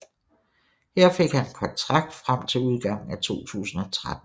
Her fik han en kontrakt frem til udgangen af 2013